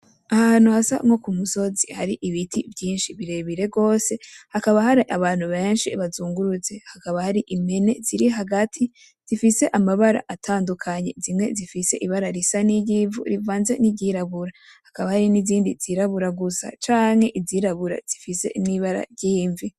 Ahantu hasa nkokumusozi hari ibiti vy'inshi birebire gose hakaba hari abantu benshi bazungurutse hakaba hari impene zirihagati zifise amabara atandukanye zimwe zifise ibara risa niry'ivu rivanze ni iryirabura hakaba hariho nizindi zirabura gusa canke nizirabura zifise n'ibara ryimvi.